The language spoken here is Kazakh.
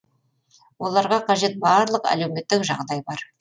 оларға қажет барлық әлеуметтік жағдай бар